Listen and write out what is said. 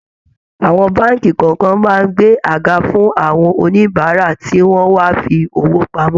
Àwọn báànkì kọ̀ọ̀kan máa ń gbé àga fún àwọn oníbàárà tí wọ́n wá fi owó pamọ́